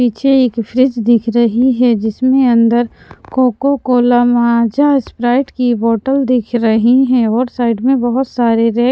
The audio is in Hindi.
पीछे एक फ्रिज दिख रही है जिसमें अंदर कोकोकोला माजा स्प्राइट की बोटल दिख रही हैं और साइड में बहुत सारे रै --